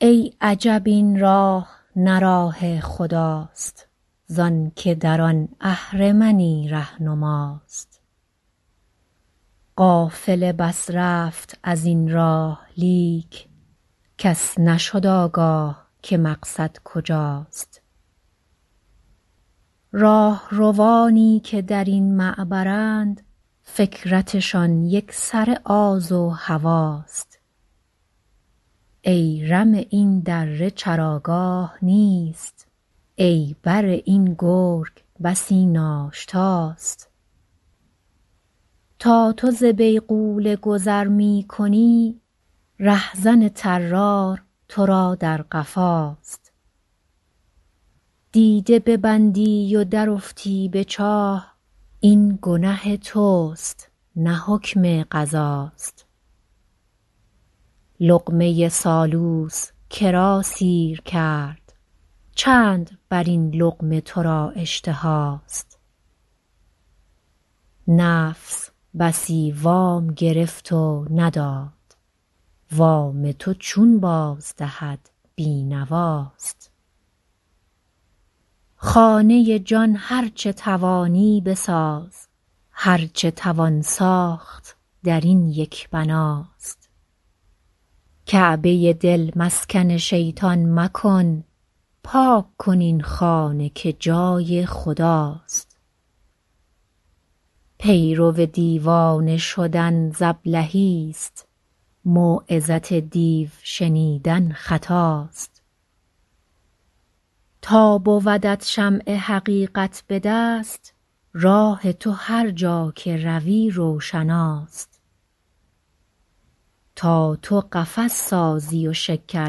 ای عجب این راه نه راه خداست زانکه در آن اهرمنی رهنماست قافله بس رفت از این راه لیک کس نشد آگاه که مقصد کجاست راهروانی که درین معبرند فکرتشان یکسره آز و هواست ای رمه این دره چراگاه نیست ای بره این گرگ بسی ناشتاست تا تو ز بیغوله گذر میکنی رهزن طرار تو را در قفاست دیده ببندی و درافتی بچاه این گنه تست نه حکم قضاست لقمه سالوس کرا سیر کرد چند بر این لقمه تو را اشتهاست نفس بسی وام گرفت و نداد وام تو چون باز دهد بینواست خانه جان هرچه توانی بساز هرچه توان ساخت درین یک بناست کعبه دل مسکن شیطان مکن پاک کن این خانه که جای خداست پیرو دیوانه شدن ز ابلهی است موعظت دیو شنیدن خطاست تا بودت شمع حقیقت بدست راه تو هرجا که روی روشناست تا تو قفس سازی و شکر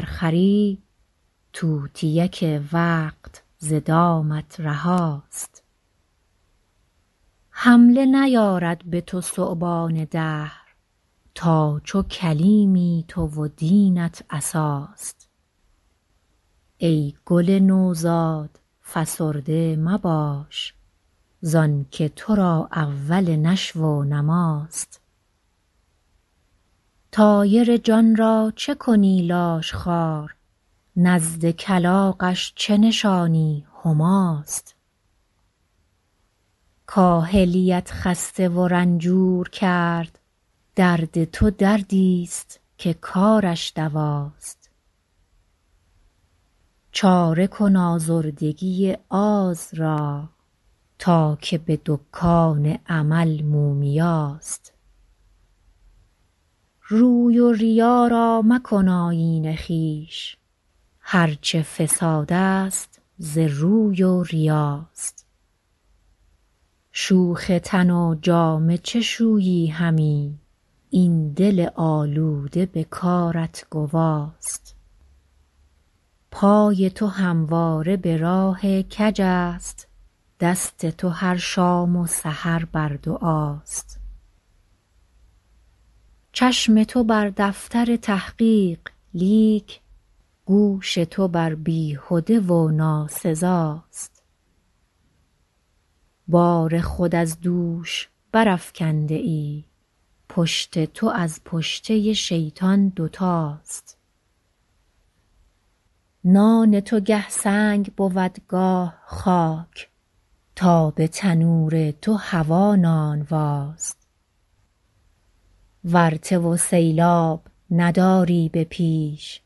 خری طوطیک وقت ز دامت رهاست حمله نیارد بتو ثعبان دهر تا چو کلیمی تو و دینت عصاست ای گل نوزاد فسرده مباش زانکه تو را اول نشو و نماست طایر جانرا چه کنی لاشخوار نزد کلاغش چه نشانی هماست کاهلیت خسته و رنجور کرد درد تو دردیست که کارش دواست چاره کن آزردگی آز را تا که بدکان عمل مومیاست روی و ریا را مکن آیین خویش هرچه فساد است ز روی و ریاست شوخ تن و جامه چه شویی همی این دل آلوده به کارت گواست پای تو همواره براه کج است دست تو هر شام و سحر بر دعاست چشم تو بر دفتر تحقیق لیک گوش تو بر بیهده و ناسزاست بار خود از دوش برافکنده ای پشت تو از پشته شیطان دوتاست نان تو گه سنگ بود گاه خاک تا به تنور تو هوی نانواست ورطه و سیلاب نداری به پیش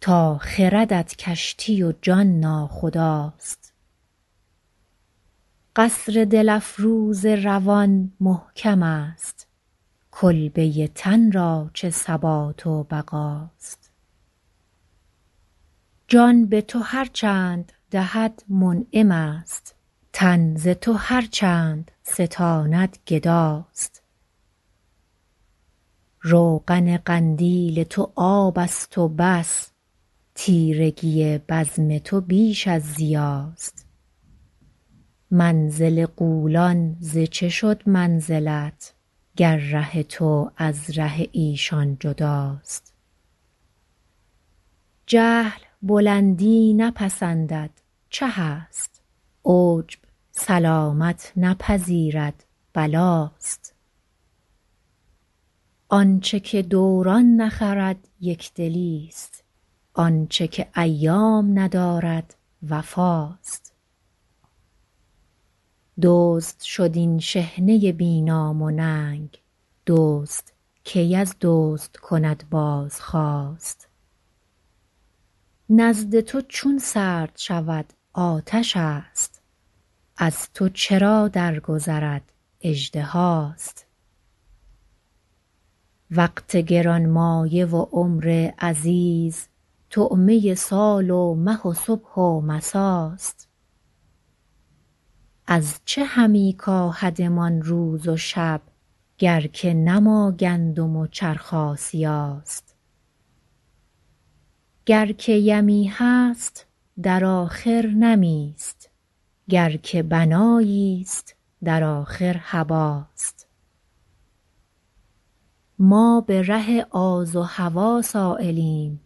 تا خردت کشتی و جان ناخداست قصر دل افروز روان محکم است کلبه تن را چه ثبات و بقاست جان بتو هرچند دهد منعم است تن ز تو هرچند ستاند گداست روغن قندیل تو آبست و بس تیرگی بزم تو بیش از ضیاست منزل غولان ز چه شد منزلت گر ره تو از ره ایشان جداست جهل بلندی نپسندد چه است عجب سلامت نپذیرد بلاست آنچه که دوران نخرد یکدلیست آنچه که ایام ندارد وفاست دزد شد این شحنه بی نام و ننگ دزد کی از دزد کند بازخواست نزد تو چون سرد شود آتش است از تو چرا درگذرد اژدهاست وقت گرانمایه و عمر عزیز طعمه سال و مه و صبح و مساست از چه همی کاهدمان روز و شب گر که نه ما گندم و چرخ آسیاست گر که یمی هست در آخر نمی است گر که بنایی است در آخر هباست ما بره آز و هوی سایلیم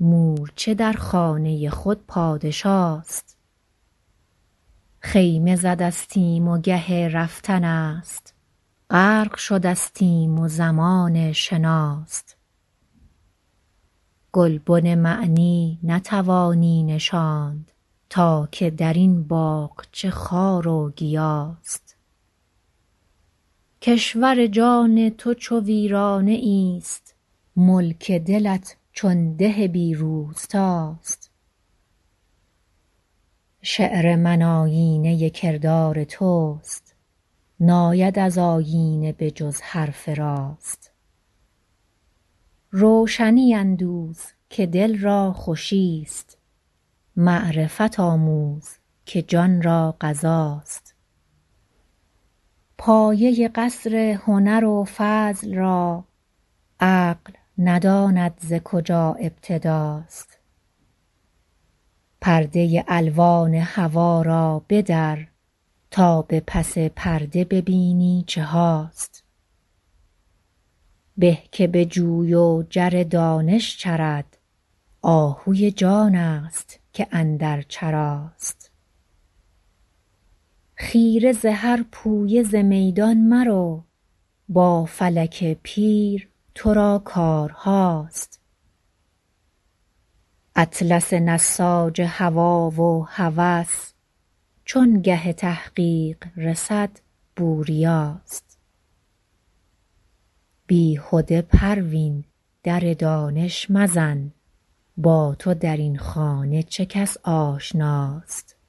مورچه در خانه خود پادشاست خیمه ز دستیم و گه رفتن است غرق شدستیم و زمان شناست گلبن معنی نتوانی نشاند تا که درین باغچه خار و گیاست کشور جان تو چو ویرانه ایست ملک دلت چون ده بی روستاست شعر من آینه کردار تست ناید از آیینه به جز حرف راست روشنی اندوز که دلرا خوشی است معرفت آموز که جانرا غذاست پایه قصر هنر و فضل را عقل نداند ز کجا ابتداست پرده الوان هوی را بدر تا بپس پرده ببینی چهاست به که بجوی و جر دانش چرد آهوی جانست که اندر چراست خیره ز هر پویه ز میدان مرو با فلک پیر ترا کارهاست اطلس نساج هوی و هوس چون گه تحقیق رسد بوریاست بیهده پروین در دانش مزن با تو درین خانه چه کس آشناست